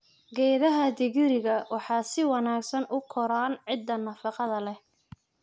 Geedaha digiriga waxay si wanaagsan u koraan ciidda nafaqada leh.